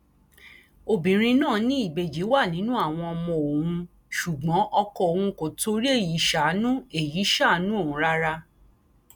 obìnrin náà ní ìbejì wà nínú àwọn ọmọ òun ṣùgbọn ọkọ òun kò torí èyí ṣàánú èyí ṣàánú òun rárá